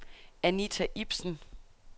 Anita Ibsen